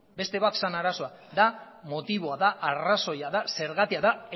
beste bat zen arazoa motiboa da arrazoia da zergatia da